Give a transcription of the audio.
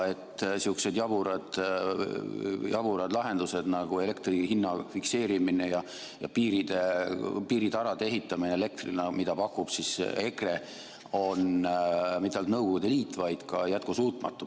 Sihukesed jaburad lahendused nagu elektri hinna fikseerimine ja piiritarade ehitamine elektrile, mida pakub EKRE, ei ole mitte ainult Nõukogude Liit, vaid on ka jätkusuutmatu.